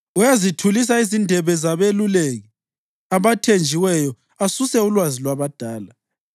Uyazithulisa izindebe zabeluleki abathenjiweyo asuse ulwazi lwabadala.